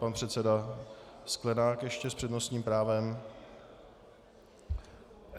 Pan předseda Sklenák ještě s přednostním právem.